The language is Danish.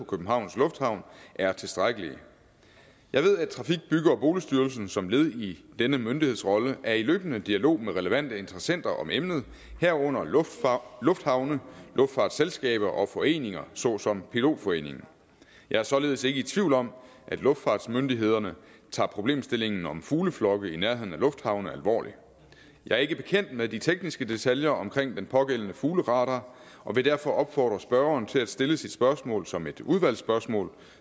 københavns lufthavn er tilstrækkelige jeg ved at trafik bygge og boligstyrelsen som led i denne myndighedsrolle er i løbende dialog med relevante interessenter om emnet herunder lufthavne luftfartsselskaber og foreninger såsom pilotforeningen jeg er således ikke i tvivl om at luftfartsmyndighederne tager problemstillingen om fugleflokke i nærheden af lufthavne alvorligt jeg er ikke bekendt med de tekniske detaljer om den pågældende fugleradar og vil derfor opfordre spørgeren til at stille sit spørgsmål som et udvalgsspørgsmål